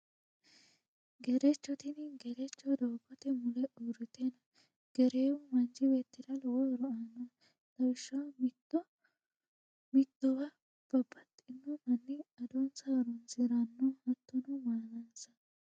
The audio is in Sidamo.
Gerecho, tini gerecho doogote mule uurite no, gereewu manchi beetira lowo horo aano lawishaho mito mitowa babaxino mani adonsa horonsiranno hattono maalansa